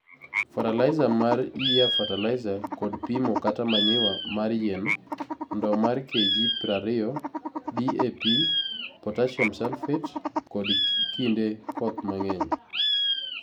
Fertilizer mar Year Fertilizer kod pimo kata Manure mar yien( ndoo mar KG prariyo) DAP(g) Potassium Sulphate (g) kod kinde koth mangeny.